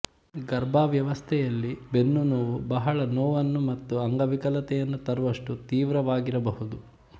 ಗರ್ಭಾವಸ್ಥೆಯಲ್ಲಿ ಬೆನ್ನುನೋವು ಬಹಳ ನೋವನ್ನು ಮತ್ತು ಅಂಗವಿಕಲತೆಯನ್ನು ತರುವಷ್ಟು ತೀವ್ರವಾಗಿರಬಹುದು